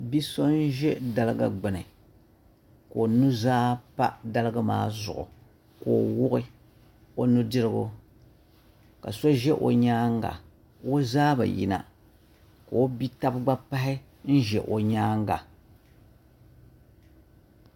Bia so n ʒɛ daligu gbuni ka o nuzaa pa daligi maa zuɣu ka o wuɣi o nudirigu ka so ʒɛ o nyaanga o zaa bi yina ka o bia tabi gba pahi n ʒɛ o nyaanga